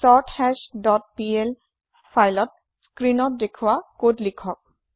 চৰ্থাশ dot PL ফাইলত স্ক্ৰিনত দেখোৱা কদ লিখক